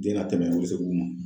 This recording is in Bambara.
Den ka tɛmɛ